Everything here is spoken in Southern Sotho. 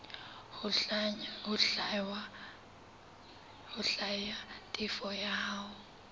ho hlwaya tefo ya hao